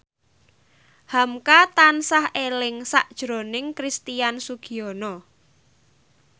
hamka tansah eling sakjroning Christian Sugiono